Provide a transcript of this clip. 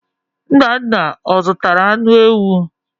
Nnanna ọ zụtara anụ ewu?